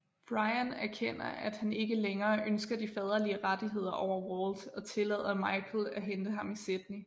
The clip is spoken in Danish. Brian erkender at han ikke længere ønsker de faderlige rettigheder over Walt og tillader Michael at hente ham i Sydney